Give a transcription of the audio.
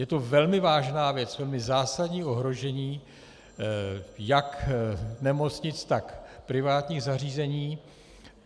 Je to velmi vážná věc, velmi zásadní ohrožení jak nemocnic, tak privátních zařízení.